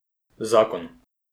Zakon.